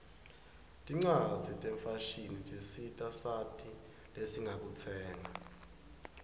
tincwaszi tefashini tisita sati zesingakutsenga